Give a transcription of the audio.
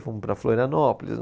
Fomos para Florianópolis.